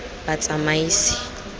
batsamaisi